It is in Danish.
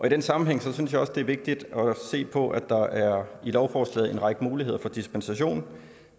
i den sammenhæng synes jeg også det er vigtigt at se på at der i lovforslaget er en række muligheder for dispensation